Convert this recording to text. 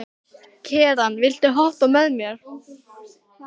Keran, viltu hoppa með mér?